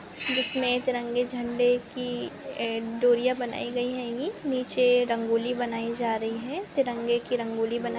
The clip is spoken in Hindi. बीच में तिरंगे झंडे की ए डोरीयां बनाई गई होंगी नीचे रंगोली बनाई जा रही है तिरंगे की रंगोली बनाई --